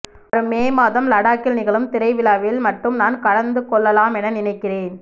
வரும் மே மாதம் லடாக்கில் நிகழும் திரைவிழாவில் மட்டும் நான் கலந்துகொள்ளலாமென நினைக்கிறேன்